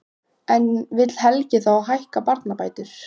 En vill Helgi þá hækka barnabætur?